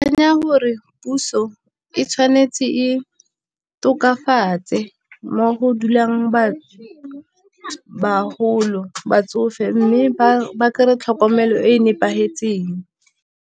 gore puso e tshwanetse e tokafatse, mo go dulang ba bagolo, batsofe mme ba kry-e tlhokomelo e e nepagetseng.